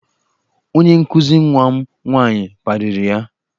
Onye nkụzi nwa m nwaanyị kparịrị ya.